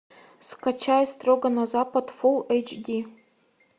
скачай строго на запад фул эйч ди